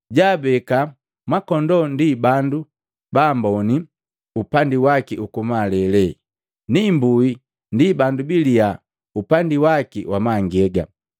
Jaabeka makondoo ndi bandu baamboni upandi waki uku malele na imbui ndi bandu baliya upandi wa mangega.